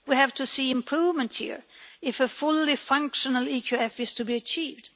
We have to see improvement here if a fully functional EQF is to be achieved.